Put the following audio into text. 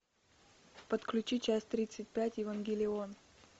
подключи часть тридцать пять евангелион